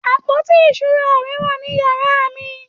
àpótí ìṣura rẹ wà ní yàrá mi